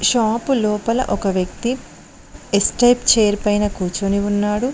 Shop లోపల ఒక వ్యక్తి ఎస్ టైప్ చైర్ పైన కూర్చొని ఉన్నాడు.